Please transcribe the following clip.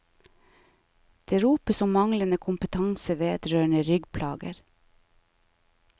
Det ropes om manglende kompetanse vedrørende ryggplager.